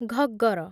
Ghaggar